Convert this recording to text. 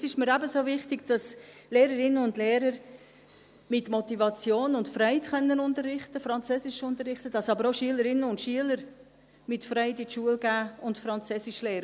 Es ist mir ebenso wichtig, dass Lehrerinnen und Lehrer mit Motivation und Freude unterrichten können, Französisch unterrichten können, dass aber auch Schülerinnen und Schüler mit Freude zur Schule gehen und Französisch lernen.